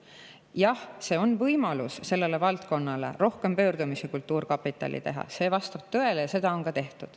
Jah, see on sellele valdkonnale võimalus rohkem pöördumisi kultuurkapitali poole teha, see vastab tõele ja seda on ka tehtud.